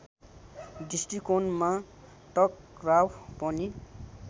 दृष्टिकोणमा टकराव पनि